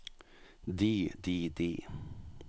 de de de